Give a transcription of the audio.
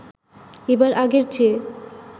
এবার আগের চেয়ে